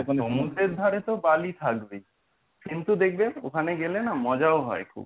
সমুদ্রের ধারে তো বালি থাকবেই কিন্তু দেখবেন ওখানে গেলে না মজাও হয় খুব।